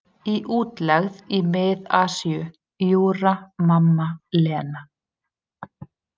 Í útlegð í Mið-Asíu: Júra, mamma, Lena.